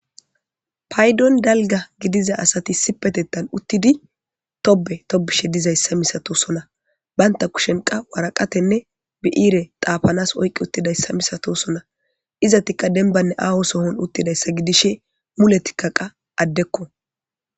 Paydon dalga gidiza asati sipetettan uttidi tobe tobishe dizayssa misato sona baynta kushenqa waraqatenne bi7ire xaapanas oyqi uttidayssa misatosona izatika denbanne aaho sohon uttidayssa gidishe mule tikka qaa addekko.